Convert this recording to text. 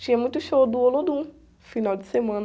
Tinha muito show do Olodum, final de semana.